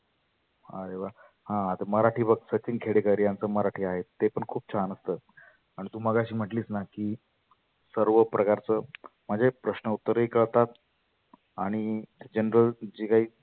आरे वा हां आता मराठी बघ सचीन खेडेकर यांच मराठी आहे ते पण खुप छान असतं. आन तु मगाशी म्हटलीस ना की सर्व प्रकारच म्हणजे प्रश्न उत्तरे ही करतात. आणि general जे काही